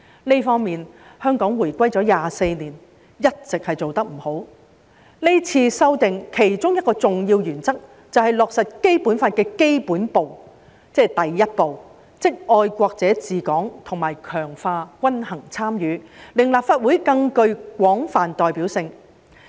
就這方面，香港回歸了24年，一直做不好，這次修訂的其中一個重要原則，就是落實《基本法》的基本步，即第一步，就是"愛國者治港"及強化均衡參與，令立法會更具廣泛代表性。